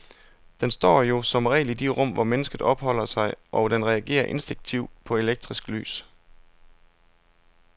Den står jo som regel i de rum, hvor mennesket opholder sig, og den reagerer instinktivt på elektrisk lys.